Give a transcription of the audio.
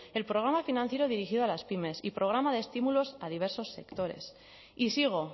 el programa financiero dirigido a las pymes y programa de estímulos a diversos sectores y sigo